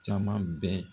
Caman bɛ